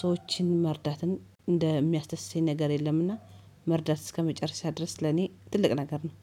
ሰዎችን መርዳትን እንደሚያስደስተኝ ነገር የለምና። መርዳት እስከመጨረሻ ድረስ ለኔ ትልቅ ነገር ነው